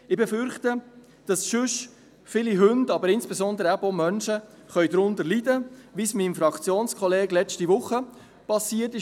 Ich befürchte, dass sonst viele Hunde und insbesondere eben auch Menschen darunter leiden könnten, wie es meinem Fraktionskollegen letzte Woche passiert ist.